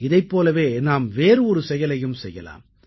இதைப் போலவே நாம் வேறு ஒரு செயலையையும் செய்யலாம்